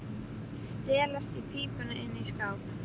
Stelast í pípuna inni í skáp.